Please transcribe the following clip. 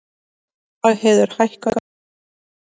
Dagheiður, hækkaðu í hátalaranum.